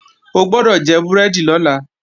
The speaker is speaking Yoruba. O gbọ́dọ̀ jẹ búrẹ́dì lọ́la!